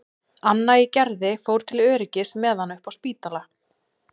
Anna í Gerði fór til öryggis með hana upp á Spítala.